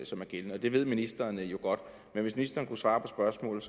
som er gældende det ved ministeren jo godt men hvis ministeren kunne svare på spørgsmålet